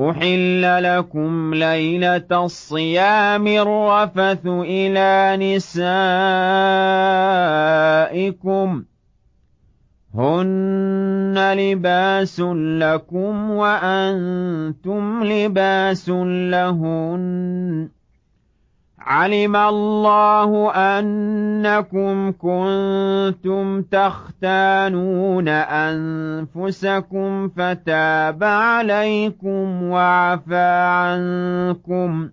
أُحِلَّ لَكُمْ لَيْلَةَ الصِّيَامِ الرَّفَثُ إِلَىٰ نِسَائِكُمْ ۚ هُنَّ لِبَاسٌ لَّكُمْ وَأَنتُمْ لِبَاسٌ لَّهُنَّ ۗ عَلِمَ اللَّهُ أَنَّكُمْ كُنتُمْ تَخْتَانُونَ أَنفُسَكُمْ فَتَابَ عَلَيْكُمْ وَعَفَا عَنكُمْ ۖ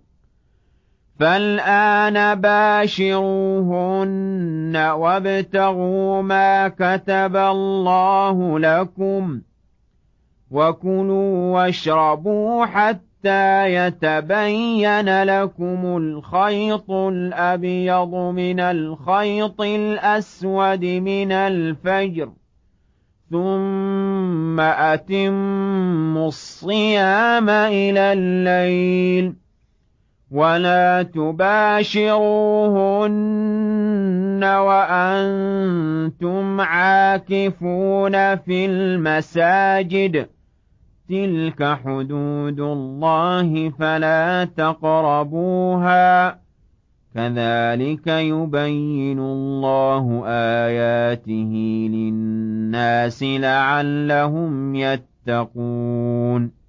فَالْآنَ بَاشِرُوهُنَّ وَابْتَغُوا مَا كَتَبَ اللَّهُ لَكُمْ ۚ وَكُلُوا وَاشْرَبُوا حَتَّىٰ يَتَبَيَّنَ لَكُمُ الْخَيْطُ الْأَبْيَضُ مِنَ الْخَيْطِ الْأَسْوَدِ مِنَ الْفَجْرِ ۖ ثُمَّ أَتِمُّوا الصِّيَامَ إِلَى اللَّيْلِ ۚ وَلَا تُبَاشِرُوهُنَّ وَأَنتُمْ عَاكِفُونَ فِي الْمَسَاجِدِ ۗ تِلْكَ حُدُودُ اللَّهِ فَلَا تَقْرَبُوهَا ۗ كَذَٰلِكَ يُبَيِّنُ اللَّهُ آيَاتِهِ لِلنَّاسِ لَعَلَّهُمْ يَتَّقُونَ